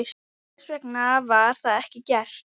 En hvers vegna var það ekki gert?